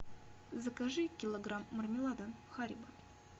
закажи килограмм мармелада харибо